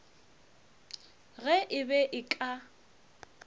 ge e be e ka